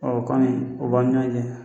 Ɔ kɔni o b'an ni ɲɔgɔn cɛ